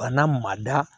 Bana ma da